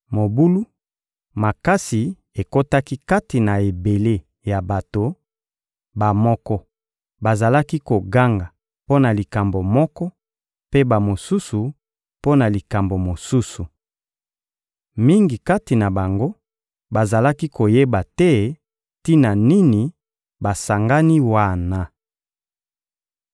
Mobulu makasi ekotaki kati na ebele ya bato: bamoko bazalaki koganga mpo na likambo moko, mpe bamosusu, mpo na likambo mosusu. Mingi kati na bango bazalaki koyeba te tina nini basangani wana.